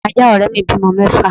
Ajá òré mi bímọ mẹ́fà